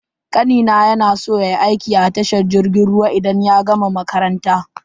Kanina ya na so yayi aiki a tashar jirgin ruwa idan ya gama makaranta.